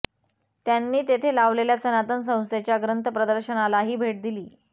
त्यांनी तेथे लावलेल्या सनातन संस्थेच्या ग्रंथ प्रदर्शनालाही भेट दिली